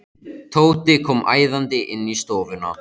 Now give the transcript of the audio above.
Tóti kom æðandi inn í stofuna.